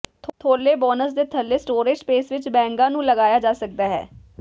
ਥੌਲੇ ਬੋਨਸ ਦੇ ਥੱਲੇ ਸਟੋਰੇਜ ਸਪੇਸ ਵਿਚ ਬੈਗਾਂ ਨੂੰ ਲਗਾਇਆ ਜਾ ਸਕਦਾ ਹੈ